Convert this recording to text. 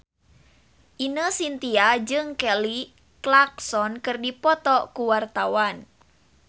Ine Shintya jeung Kelly Clarkson keur dipoto ku wartawan